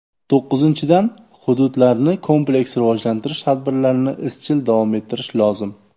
To‘qqizinchidan, hududlarni kompleks rivojlantirish tadbirlarini izchil davom ettirish lozim.